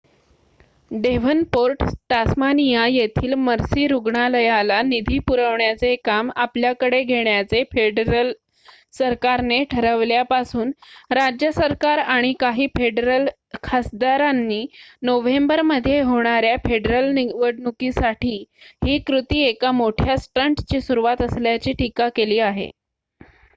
Devonport Tasmania येथील Mercy रुग्णालयाlला निधी पुरवण्याचे काम आपल्याकडे घेण्याचे फेडरल सरकारने ठरवल्यापासून राज्य सरकार आणि काही फेडरल खासदारांनी नोव्हेंबरमध्ये होणाऱ्या फेडरल निवडणुकीसाठी ही कृती एका मोठ्या स्टंटची सुरुवात असल्याची टीका केली आहे